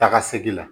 Taga segin la